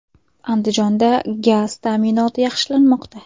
Andijonda gaz ta’minoti yaxshilanmoqda.